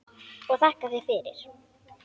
Og þakka þér fyrir mig.